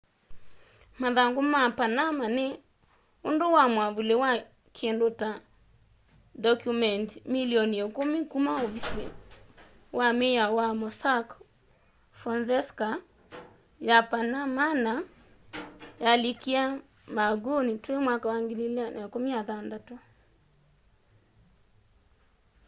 mathangu ma panama” ni undu wa mwavuli wa kindu ta ndokyumendi milioni ikumi kuma ovisi wa miao wa mossack fonseca ya panamana yalikíie marhanguni twi 2016